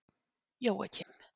Jóakim